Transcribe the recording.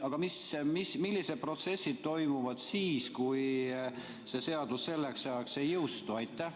Aga millised protsessid toimuvad siis, kui see seadus selleks ajaks ei jõustu?